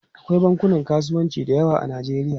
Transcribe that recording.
Akwai bankunan kasuwanci da yawa a Najeriya.